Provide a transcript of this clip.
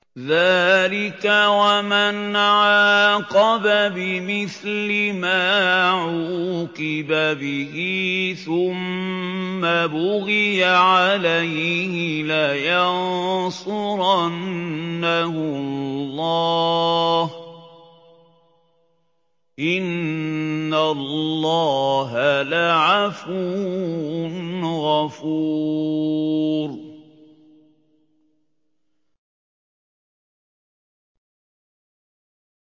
۞ ذَٰلِكَ وَمَنْ عَاقَبَ بِمِثْلِ مَا عُوقِبَ بِهِ ثُمَّ بُغِيَ عَلَيْهِ لَيَنصُرَنَّهُ اللَّهُ ۗ إِنَّ اللَّهَ لَعَفُوٌّ غَفُورٌ